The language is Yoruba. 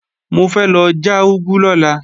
Mo fẹ́ lọ já úgú lọ́la